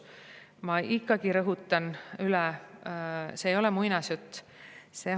Ma ikkagi rõhutan üle: see ei ole muinasjutt.